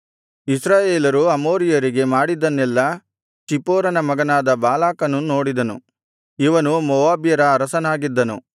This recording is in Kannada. ಇಸ್ರಾಯೇಲರು ಅಮೋರಿಯರಿಗೆ ಮಾಡಿದನ್ನೆಲ್ಲಾ ಚಿಪ್ಪೋರನ ಮಗನಾದ ಬಾಲಾಕನು ನೋಡಿದನು ಇವನು ಮೋವಾಬ್ಯರ ಅರಸನಾಗಿದ್ದನು